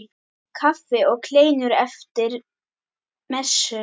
Kaffi og kleinur eftir messu.